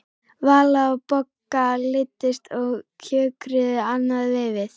Vala og Bogga leiddust og kjökruðu annað veifið.